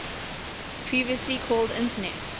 previously called internet